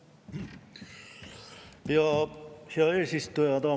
Aitäh, hea eesistuja!